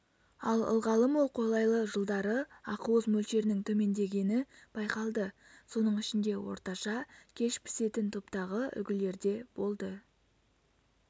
ал ылғалы мол қолайлы жылдары ақуыз мөлшерінің төмендегені байқалды соның ішінде орташа кеш пісетін топтағы үлгілерде болды